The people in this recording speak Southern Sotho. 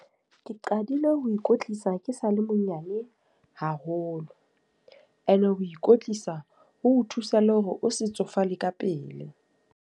Ke qadile ho ikwetlisa ke sa le monyane haholo. E ne ho ikwetlisa, ho o thusa le hore o se tsofale ka pele.